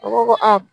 U ko ko a